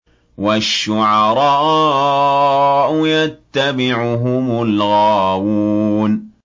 وَالشُّعَرَاءُ يَتَّبِعُهُمُ الْغَاوُونَ